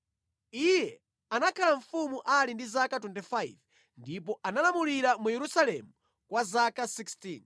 Iye anakhala mfumu ali ndi zaka 25 ndipo analamulira mu Yerusalemu kwa zaka 16.